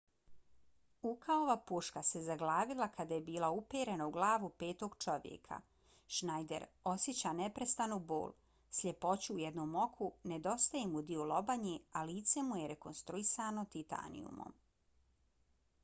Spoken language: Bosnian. ukaova puška se zaglavila kada je bila uperena u glavu petog čovjeka. schneider osjeća neprestanu bol sljepoću u jednom oku nedostaje mu dio lobanje a lice mu je rekonstruisano titanijumom